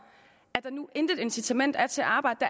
at der nu intet incitament er til at arbejde